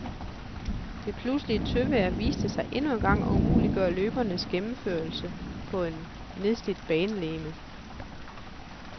Det pludselige tøvejr viste sig endnu engang at umuliggøre løbenes gennemførelse på et nedslidt banelegeme.